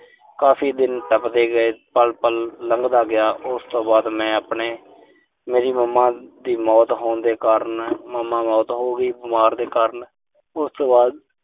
ਕਾਫ਼ੀ ਦਿਨ ਟੱਪਦੇ ਗਏ। ਪਲ-ਪਲ ਲੰਘਦਾ ਗਿਆ। ਉਸ ਤੋਂ ਬਾਅਦ ਮੈਂ ਆਪਣੇ ਮੇਰੀ mama ਦੀ ਮੌਤ ਹੋਣ ਦੇ ਕਾਰਨ ਮੈਂ। mama ਮੌਤ ਹੋ ਗਈ ਬਿਮਾਰੀ ਦੇ ਕਾਰਨ। ਉਸ ਤੋਂ ਬਾਅਦ